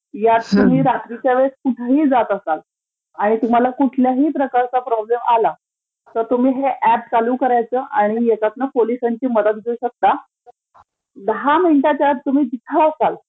यात तुम्ही रात्रीच्या वेळेस कुठेही जात असाल आणि तुम्हीला कुठल्याही प्रकारचा प्रॉब्लेम आला तर तुम्ही ते ऍप चालू करायचं आणि त्याच्यातून पोलिसांची मदत घेऊ शकता, दहा मिनिटांच्या आत जिथं असालं